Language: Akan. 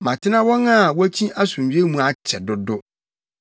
Matena wɔn a wokyi asomdwoe mu akyɛ dodo.